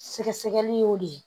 Sɛgɛsɛgɛli y'o de ye